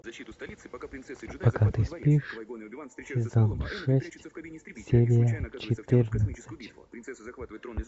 пока ты спишь сезон шесть серия четырнадцать